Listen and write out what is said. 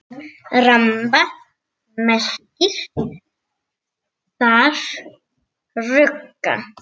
Ramba merkir þar rugga.